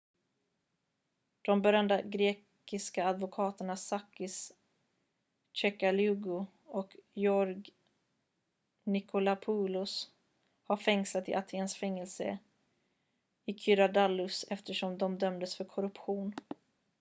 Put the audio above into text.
de berömda grekiska advokaterna sakis kechagioglou och george nikolakopoulos har fängslats i atens fängelse i korydallus eftersom de dömdes för korruption